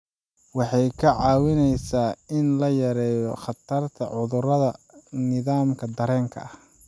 Waxay kaa caawinaysaa in la yareeyo khatarta cudurrada nidaamka dareenka.